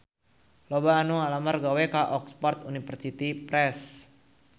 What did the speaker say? Loba anu ngalamar gawe ka Oxford University Press